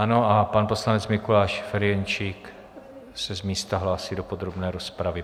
Ano a pan poslanec Mikuláš Ferjenčík se z místa hlásí do podrobné rozpravy.